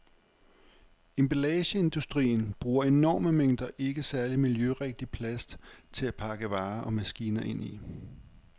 Emballageindustrien bruger enorme mængder ikke særlig miljørigtig plast til at pakke varer og maskiner ind i.